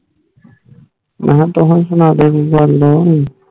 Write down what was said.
ਮਹਾ ਤੁਸੀਂ ਸੁਣਾ ਦਿਯੋ ਕੋਈ ਗੱਲ